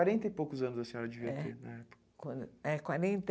Quarenta e poucos anos a senhora devia ter, né? Quando, é quarenta